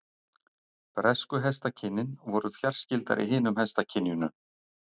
Bresku hestakynin voru fjarskyldari hinum hestakynjunum.